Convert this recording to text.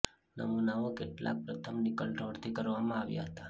નમૂનાઓ કેટલાક પ્રથમ નિકલ ઢોળ થી કરવામાં આવ્યા હતા